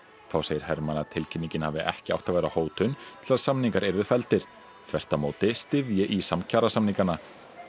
þá segir Hermann að tilkynningin hafi ekki átt að vera hótun til að samningar yrðu felldir þvert á móti styðji ÍSAM kjarasamningana